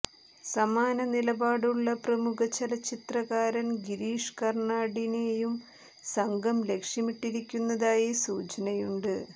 സമാന നിലപാടുള്ള പ്രമുഖ ചലച്ചിത്രകാരൻ ഗിരീഷ് കർണാടിനെയും സംഘം ലക്ഷ്യമിട്ടിരുന്നതായി സൂചനയുണ്ട്